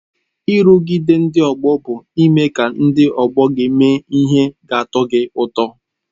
Nrụgide ndị ọgbọ bụ ime ka ndị ọgbọ gị mee ihe ga-atọ gị ụtọ.